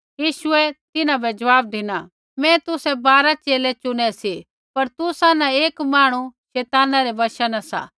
यीशुऐ तिन्हां बै ज़वाब धिना मैं तुसै बारा च़ेले चुनै सी पर तुसा न एक मांहणु शैताना रै वशा न सा